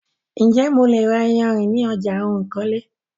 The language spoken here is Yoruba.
Ǹjè mo lè ra iyarìn ní ọjà ohun ìkọ́lé?